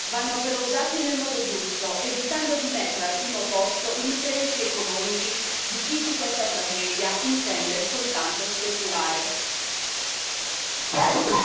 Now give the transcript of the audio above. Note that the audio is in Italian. L'Europa ha i mezzi per poterci riuscire vanno però usati nel modo giusto, evitando di mettere al primo posto gli interessi economici di chi su questa tragedia intende soltanto speculare.